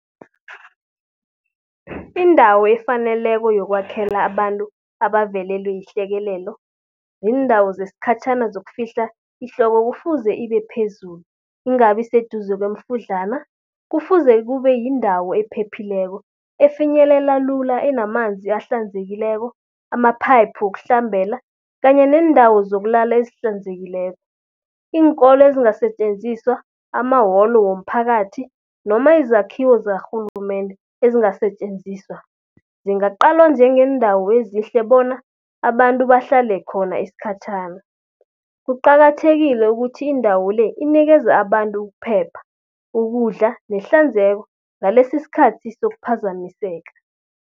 Indawo efaneleko yokwakhela abantu abavelelwe yihlekelelo, ziindawo zeskhatjhana zokufika ihloko kufuze ibe phezulu, ingabi seduze kweemfudlana. Kufuze kube yindawo ephephileko, efinyelela lula, enamanzi ahlanzekileko, amaphayiphu wokuhlambela kanye neendawo zokulala ezihlanzekileko. Iinkolo ezingasetjenziswa, amawolo womphakathi noma izakhiwo zakarhulumende ezingasetjenziswa. Zingaqalwa njengeendawo ezihle bona abantu bahlale khona iskhatjhana. Kuqakathekile ukuthi indawo le, inikeze abantu ukuphepha, ukudla nehlanzeko ngalesi skhathi sokuphazamiseka.